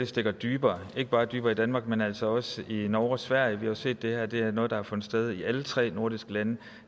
stikker dybere ikke bare dybere i danmark men altså også i norge og sverige vi har set at det her er noget der har fundet sted i alle tre nordiske lande